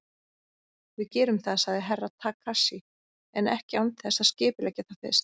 Við gerum það, sagði Herra Takashi, en ekki án þess að skipuleggja það fyrst.